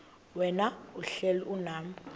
wena uhlel unam